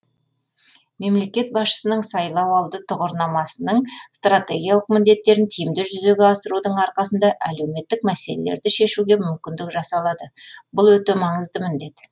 мемлекет басшысының сайлауалды тұғырнамасының стратегиялық міндеттерін тиімді жүзеге асырудың арқасында әлеуметтік мәселелерді шешуге мүмкіндік жасалады бұл өте маңызды міндет